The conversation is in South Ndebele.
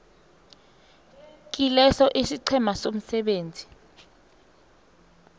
kileso isiqhema somsebenzi